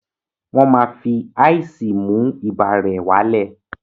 Wọ́n máa fi ice mú ibà rẹ̀ wá lẹ̀